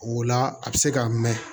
O la a bɛ se ka mɛn